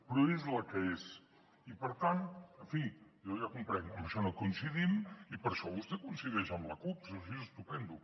però és la que és i per tant en fi jo ja comprenc que en això no coincidim i per això vostè coincideix amb la cup i si no és així estupendo